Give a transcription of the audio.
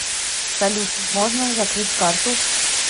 салют можно закрыть карту